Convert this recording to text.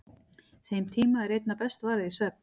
Þeim tíma er einna best varið í svefn.